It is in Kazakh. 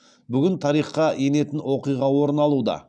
бүгін тарихқа енетін оқиға орын алуда